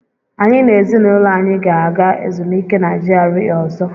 Anyị na ezinụlọ anyị ga-aga ezumike na GRA ọzọ.